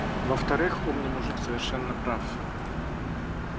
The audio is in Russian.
во-вторых умный мужик совершенно прав